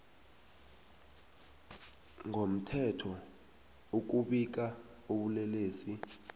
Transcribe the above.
ngomthetho ukubika ubulelesi